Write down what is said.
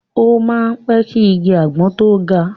O máa ń pẹ́ ki igi àgbọn tó ga.